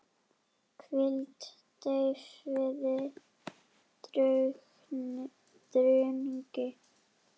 hvíld, deyfð, drungi